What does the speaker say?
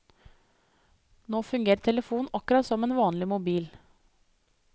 Nå fungerer telefonen akkurat som en vanlig mobil.